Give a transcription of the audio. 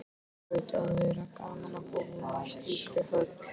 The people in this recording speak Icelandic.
Það hlaut að vera gaman að búa í slíkri höll.